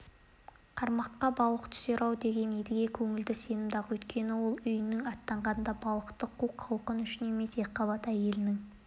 қармаққа балық түсер-ау деп едіге көңілі сенімді-ақ өйткені ол үйінен аттанғанда балықты қу құлқын үшін емес екіқабат әйелінің